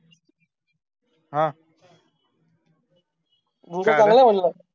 हा काय झालं